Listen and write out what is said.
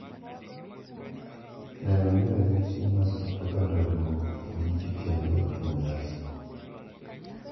Neno ni ranyisi mar kit oganda Luo oriti kendo itimo nyasi.